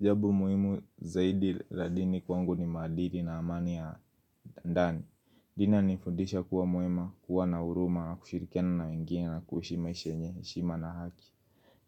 Jambo muhimu zaidi la dini kwangu ni maadili na amani ya ndani. Inanifundisha kuwa mwema, kuwa na huruma, na kushirikiana na wengine na kuishi maisha yenye heshima na haki.